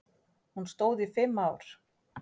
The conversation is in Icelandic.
Hún stóð í fimm ár.